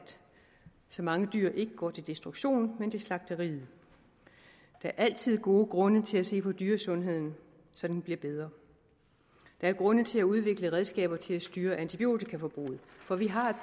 så mange dyr der går til destruktion men til slagteriet der er altid gode grunde til at se på dyresundheden så den bliver bedre der er grunde til at udvikle redskaber til at styre antibiotikaforbruget for vi har her